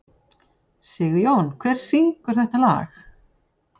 Sigjón, hver syngur þetta lag?